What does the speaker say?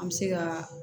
An bɛ se ka